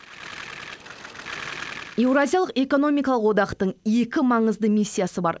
еуразиялық экономикалық одақтың екі маңызды миссиясы бар